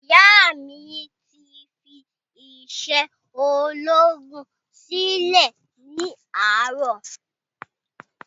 Ìyá mí ti fí isé ológun silẹ ni àárò